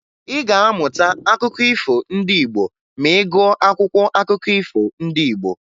Ị ga-amụta akụkọ ifo ndị Igbo ma ị gụọ akwụkwọ akụkọ ifo ndị Igbo